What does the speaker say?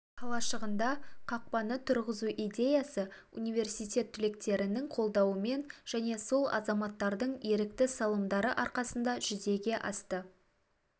қалашығында қақпаны тұрғызу идеясы университет түлектерінің қолдауымен және сол азаматтардың ерікті салымдары арқасында жүзеге асты